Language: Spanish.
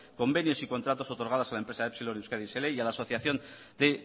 convenios y contratos otorgados a la empresa epsilon euskadi sl y a la asociación de